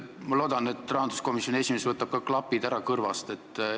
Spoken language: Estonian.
Ma loodan, et rahanduskomisjoni esimees võtab ka klapid kõrvast ära.